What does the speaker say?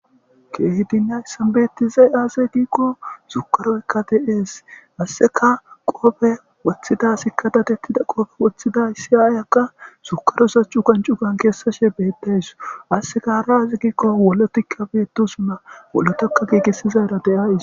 keehi dinnay sanbettize aase giikqo sukaroykka de7ees asseka qoofe woththida sikkadatettida qoofe woththida isi aayakka sukarosacu kancu gan keessashe beeddays asseka hara aze giikko wolotikka beeto sunna wolotakka giigessizayra deays